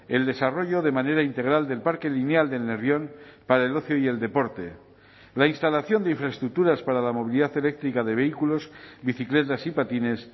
el desarrollo de manera integral del parque lineal del nervión para el ocio y el deporte la instalación de infraestructuras para la movilidad eléctrica de vehículos bicicletas y patines